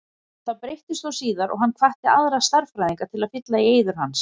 Það breyttist þó síðar og hann hvatti aðra stærðfræðinga til að fylla í eyður hans.